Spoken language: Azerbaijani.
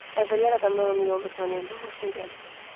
Əvvəllər adamlar onu yolda tanıyanda xoşuna gəlirdi.